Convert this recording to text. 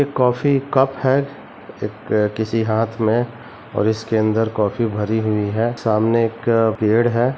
एक coffee cup है एक किसी हाथ मे और इसके अंदर कॉफी भरी हुई है सामने एक पेड़ है।